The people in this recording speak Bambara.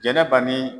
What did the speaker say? Jɛnɛba ni